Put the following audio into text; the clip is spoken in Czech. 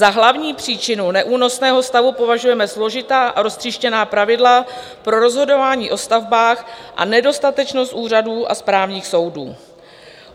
Za hlavní příčinu neúnosného stavu považujeme složitá a roztříštěná pravidla pro rozhodování o stavbách a nedostatečnost úřadů a správních soudů."